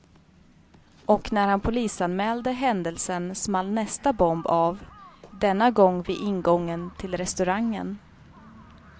Och när han polisanmälde händelsen small nästa bomb av, denna gång vid ingången till restaurangen.